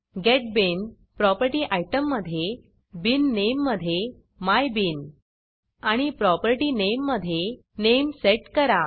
gate bean property आयटममधे bean name मधे my bean आणि प्रॉपर्टी नामे मधे नामे सेट करा